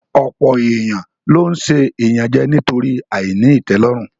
Ọ̀pọ̀ èèyàn ló n ṣe ìyànjẹ nítorí àìní ìtẹ́lọ́rùn